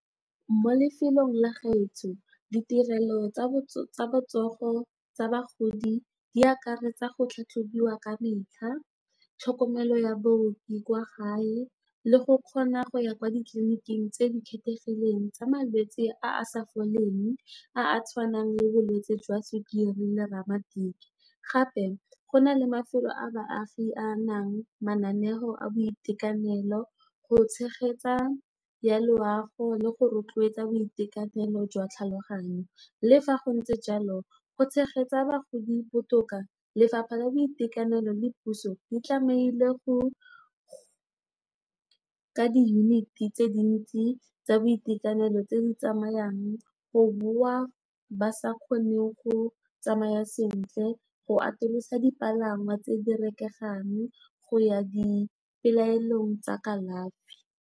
Mo lefelong la gaetsho ditirelo tsa botsogo tsa bagodi di akaretsa go tlhatlhobiwa ka metlha, tlhokomelo ya baoki kwa gae le go kgona go ya kwa ditliliniking tse di kgethegileng tsa malwetse a a sa foleng a a tshwanang le bolwetse jwa sukiri le ramatiki. Gape go na le mafelo a baagi a nang le mananeo a boitekanelo go tshegetsa ya loago le go rotloetsa boitekanelo jwa tlhaloganyo le fa go ntse jalo, go tshegetsa bagodi botoka, lefapha la boitekanelo le puso di tlameile go nka diyuniti tse dintsi tsa boitekanelo tse di tsamayang, go boa ba sa kgoneng go tsamayang sentle, go atolosa dipalangwa tse di rekegang go ya dipelaelong tsa kalafi.